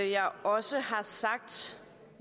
jeg også har sagt